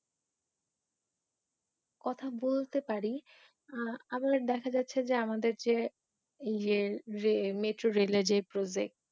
কথা বলতে পারি, আরো দেখা যাচ্ছে যে আমাদের যে মেট্রো রেল এর যে প্রজেক্ট